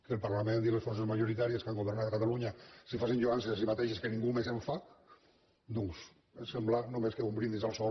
que el parlament i les forces majoritàries que han governat a catalunya se facin lloances a si mateixes que ningú més fa doncs em sembla només un brindis al sol